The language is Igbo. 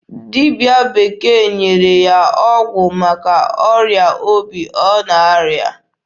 Dibịa bekee nyere ya ọgwụ maka ọrịa obi ọ na-arịa.